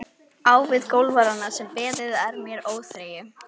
Á við golfarana sem beðið er með óþreyju.